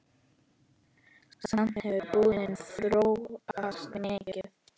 Samt hefur búðin þróast mikið.